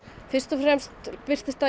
fyrst og fremst birtist það